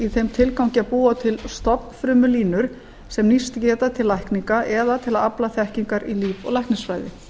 í þeim tilgangi að búa til stofnfrumulínur sem nýst geta til lækninga eða til að afla þekkingar í líf og læknisfræði